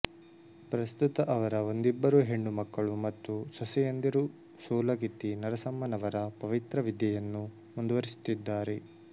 ಪ್ರಸ್ತುತ ಅವರ ಒಂದಿಬ್ಬರು ಹೆಣ್ಣು ಮಕ್ಕಳು ಮತ್ತು ಸೊಸೆಯಂದಿರು ಸೂಲಗಿತ್ತಿ ನರಸಮ್ಮನವರ ಪವಿತ್ರ ವಿದ್ಯೆಯನ್ನು ಮುಂದುವರಿಸುತ್ತಿದ್ದಾರೆ